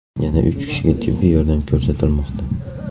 Yana uch kishiga tibbiy yordam ko‘rsatilmoqda.